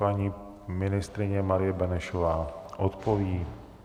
Paní ministryně Marie Benešová odpoví.